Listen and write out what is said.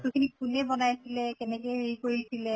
বস্তু খিনি কোনে বনাইছিলে, কেনেকে হেৰি কৰিছিলে